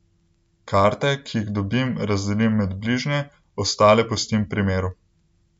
Karte, ki jih dobim, razdelim med bližnje, ostale pustim pri miru.